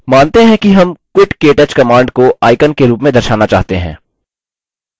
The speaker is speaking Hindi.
मानते हैं कि हम quit ktouch command को icon के रूप में दर्शाना चाहते हैं